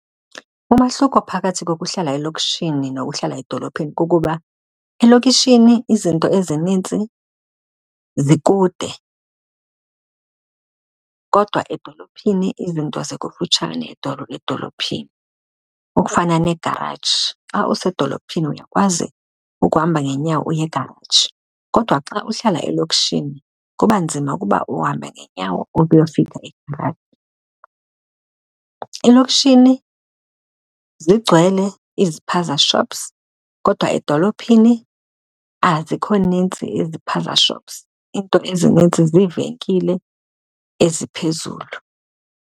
Umahluko phakathi kokuhlala elokishini nokuhlala edolophini kukuba elokishini izinto ezinintsi zikude kodwa edolophini izinto zikufutshane edolophini. Okufana neegaraji, xa usedolophini uyakwazi ukuhamba ngeenyawo uye egaraji, kodwa xa uhlala elokishini kuba nzima ukuba uhambe ngeenyawo ukuyofika egaraji. Elokishini zigcwele izipaza shops kodwa edolophini azikho nintsi izipaza shops, iinto ezinintsi ziivenkile eziphezulu.